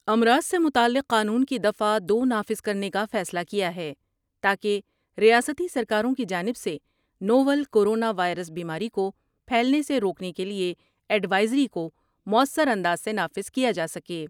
امراض سے متعلق قانون کی دفعہ دو نافذ کرنے کا فیصلہ کیا ہے تا کہ ریاستی سرکاروں کی جانب سے نو ول کرونا وائرس بیماری کو پھیلنے سے روکنے کے لئے ایڈوائزری کوموثر انداز سے نافذ کیا جا سکے ۔